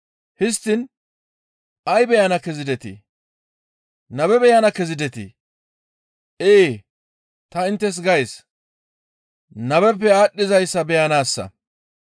Histtiin ay beyana kezidetii? Nabe beyana kezidetii? Ee, ta inttes gays, nabeppe aadhdhizayssa beyanaassa.